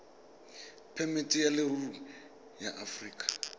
phemiti ya leruri ya aforika